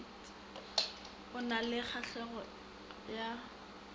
o na le kgahlego ya